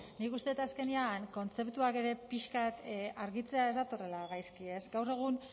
nik uste dut azkenean kontzeptuak ere pixka bat argitzea ez datorrela gaizki ez gaur egun